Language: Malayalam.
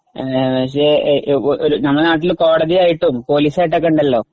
നമ്മുടെ നാട്ടിൽ കോടതി ആയിട്ടും പോലീസ് ആയിട്ടും ഒക്കെ ഉണ്ടല്ലോ